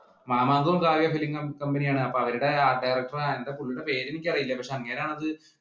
മാമാങ്കവും Kavya film company ആണ്. അപ്പൊ അവരുടെ art director എന്താ പുള്ളിയുടെ പേര് എനിക്കറിയില്ല. പക്ഷേ അങ്ങേരാണത്